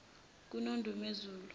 kunondumezulu